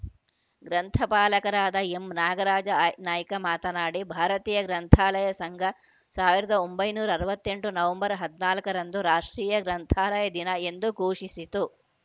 ಗ್ರಂಥಪಾಲಕರಾದ M Nagaraja I Naik ಮಾತನಾಡಿ ಭಾರತೀಯ ಗ್ರಂಥಾಲಯ ಸಂಘ ಸಾವಿರದ ಒಂಬೈನೂರ ಅರವತ್ತ್ ಎಂಟು ನವೆಂಬರ್ ಹದಿನಾಲ್ಕರಂದು ರಾಷ್ಟ್ರೀಯ ಗ್ರಂಥಾಲಯ ದಿನ ಎಂದು ಘೋಷಿಸಿತು